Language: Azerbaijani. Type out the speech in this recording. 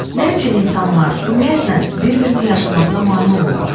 Nə üçün insanlar ümumiyyətlə bir-birini yaşamasına mane olurlar?